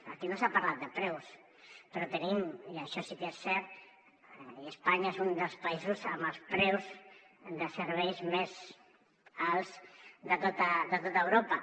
aquí no s’ha parlat de preus però tenim i això sí que és cert que espanya és un dels països amb els preus de serveis més alts de tot europa